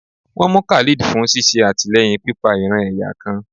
won mú Khalid fún sìsé atilẹyín pipa ìran-ẹ̀yà kan